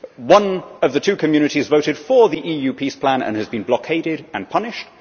One of the two communities voted for the EU peace plan and has been blockaded and punished.